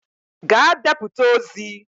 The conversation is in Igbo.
Gaa deputa ozi!